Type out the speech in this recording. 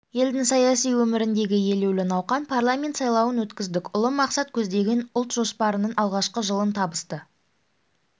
елдің саяси өміріндегі елеулі науқан парламент сайлауын өткіздік ұлы мақсат көздеген ұлт жоспарының алғашқы жылын табысты